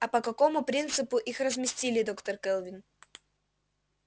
а по какому принципу их разместили доктор кэлвин